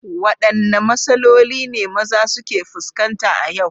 Wadanne matsaloli ne maza suke fuskanta a yau?